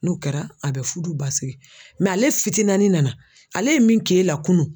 N'o kɛra a bɛ fudu basigi ale fitinani nana ale ye min kɛ e la kunun